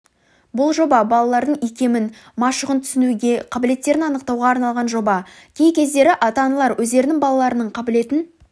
бұл жоба балалардың икемін машығын түсінуге қабілеттерін анықтауға арналған жоба кей кездері ата-аналар өздерінің балаларының қабілетін